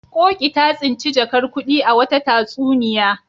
Ƙoƙi ta tsinci jakar kuɗi a wata tatsuniya.